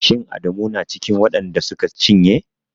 Shin Adamu yana cikin waɗan da suka cinye?